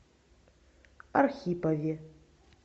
архипове